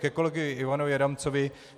Ke kolegovi Ivanovi Adamcovi.